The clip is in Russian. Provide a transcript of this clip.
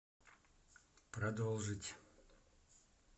продолжить